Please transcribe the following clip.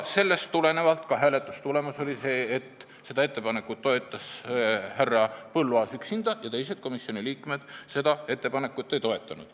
Sellest tulenevalt oli ka hääletustulemus selline, et seda ettepanekut toetas härra Põlluaas üksinda ja teised komisjoni liikmed seda ei toetanud.